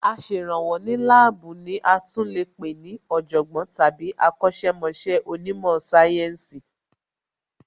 Aṣèrànwọ́ ní láàbù ní a tún lè pé ní Ọ̀jọ̀gbọ́n tàbí akọ̀sẹ̀ mọṣẹ́ onímò sáyẹ́ǹsì